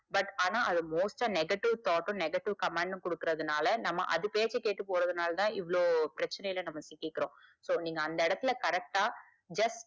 but ஆனா அத most டா negative thought டும் negative command டும் குடுக்கறது நாலா நாம அது பேச்ச கேட்டு போரனாளதா இவ்ளோ பிரச்சனைல நாம சிக்கிக்கிறோம் so நீங்க அந்த இடத்துல correct just